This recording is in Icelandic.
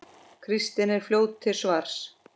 Kristín er fljót til svars.